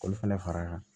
K'olu fana fara kan